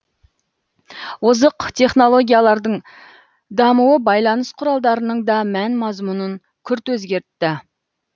озық технологиялардың дамуы байланыс құралдарының да мән мазмұнын күрт өзгертті